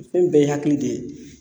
Fɛn bɛɛ ye hakili de ye